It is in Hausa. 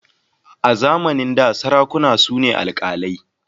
A zamanin da sarakuna su ne alkalai.